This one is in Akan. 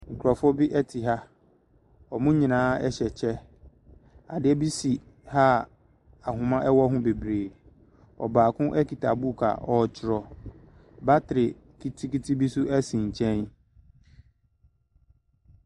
Nkurɔfoɔ bi te ha, wɔn nyinaa hyɛ kyɛ, adeɛ bi si ha a ahoma wɔ ho bebree. Ɔbaako kita book a ɔretwerɛ, battery ketewa bi nso si nkyɛn.